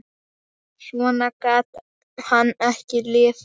Svona gat hann ekki lifað.